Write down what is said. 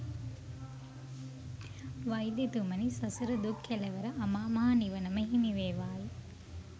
වෛද්‍යතුමනි, සසර දුක් කෙළවර අමාමහ නිවන ම හිමිවේවායි.